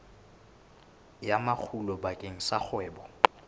ya makgulo bakeng sa kgwebo